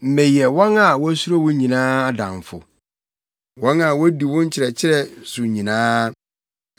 Meyɛ wɔn a wosuro wo nyinaa adamfo, wɔn a wodi wo nkyerɛkyerɛ so nyinaa.